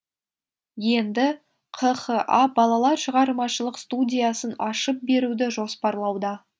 енді қха балалар шығармашылық студиясын ашып беруді жоспарлауда